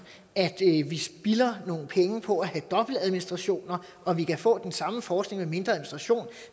at vi spilder nogle penge på at have dobbeltadministrationer og vi kan få den samme forskning administration